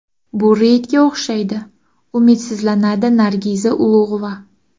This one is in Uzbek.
Bu reydga o‘xshaydi”, umidsizlanadi Nargiza Ulug‘ova.